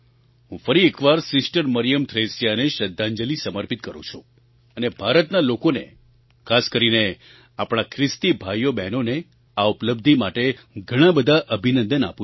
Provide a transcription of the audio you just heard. હું ફરી એક વાર સિસ્ટર મરિયમ થ્રેસિયાને શ્રદ્ધાંજલિ સમર્પિત કરું છું અને ભારતના લોકોને ખાસ કરીને આપણા ખ્રિસ્તી ભાઈઓબહેનોને આ ઉપલબ્ધિ માટે ઘણા બધા અભિનંદન આપું છું